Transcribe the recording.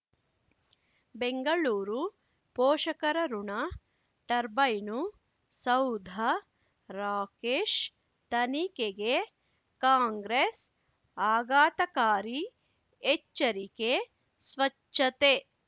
ಬೆಂಗಳೂರು ಪೋಷಕರಋಣ ಟರ್ಬೈನು ಸೌಧ ರಾಕೇಶ್ ತನಿಖೆಗೆ ಕಾಂಗ್ರೆಸ್ ಆಘಾತಕಾರಿ ಎಚ್ಚರಿಕೆ ಸ್ವಚ್ಛತೆ